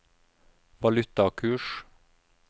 valutakurs